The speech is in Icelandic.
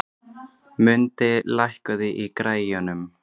Mundi, lækkaðu í græjunum.